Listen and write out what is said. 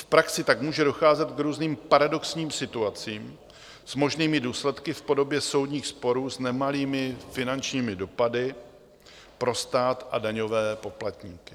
V praxi tak může docházet k různým paradoxním situacím s možnými důsledky v podobě soudních sporů s nemalými finančními dopady pro stát a daňové poplatníky.